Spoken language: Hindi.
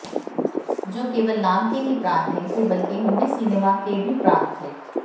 जो केवल नाम के ही प्राण नहीं थे बल्कि हिंदी सिनेमा के भी प्राण थें